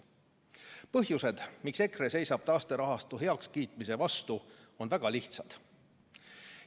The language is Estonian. Põhjused, miks EKRE seisab taasterahastu heakskiitmise vastu, on väga lihtsad.